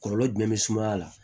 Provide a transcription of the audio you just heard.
Kɔlɔlɔ jumɛn be sumaya la